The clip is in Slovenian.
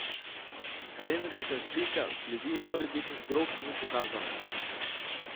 Rentgenska slika sledi morebitnih drog ni pokazala.